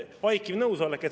Vaikiv nõusolek.